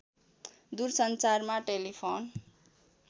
दुर सञ्चारमा टेलिफोन